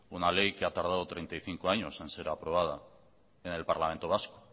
una ley que ha tardado treinta y cinco años en ser aprobada en el parlamento vasco